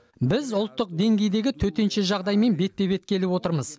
біз ұлттық деңгейдегі төтенше жағдаймен бетпе бет келіп отырмыз